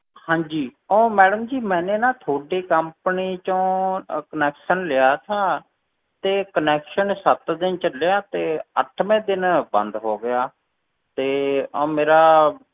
ਹਾਂਜੀ ਉਹ madam ਜੀ ਮੈਨੇ ਨਾ ਤੁਹਾਡੇ company ਚੋਂ ਅਹ connection ਲਿਆ ਸੀ, ਤੇ connection ਸੱਤ ਦਿਨ ਚੱਲਿਆ ਤੇ ਅੱਠਵੇਂ ਦਿਨ ਬੰਦ ਹੋ ਗਿਆ, ਤੇ ਉਹ ਮੇਰਾ,